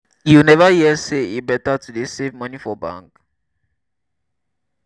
you never hear sey e beta to dey save moni for bank?